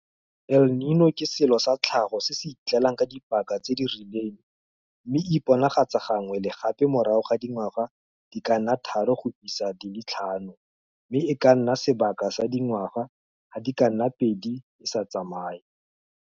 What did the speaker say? El Niño ke selo sa tlhago se se itlelang ka dipaka tse di rileng mme e iponagatsa gangwe le gape morago ga dingwaga di ka nna tharo go isa go di le tlhano mme e ka nna sebaka sa dingwa ga di ka nna pedi e sa tsamaye.